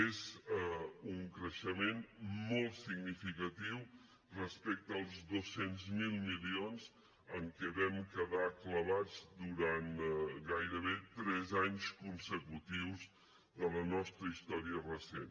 és un creixement molt significatiu respecte als dos cents miler milions en què vam quedar clavats durant gairebé tres anys consecutius de la nostra història recent